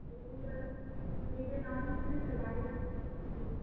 দুপুর বেলা মন্দিরে না ঢুকতে দিলে বাইরে